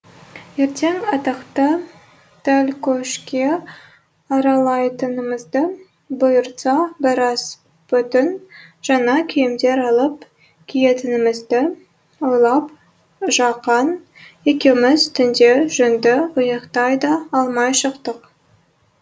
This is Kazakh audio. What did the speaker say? ертең атақты тәлкөшке аралайтынымызды бұйыртса біраз бүтін жаңа киімдер алып киетінімізді ойлап жақан екеуміз түнде жөнді ұйықтай да алмай шықтық